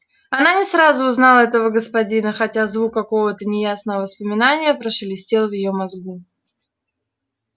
она не сразу узнала этого господина хотя звук какого-то неясного воспоминания прошелестел в её мозгу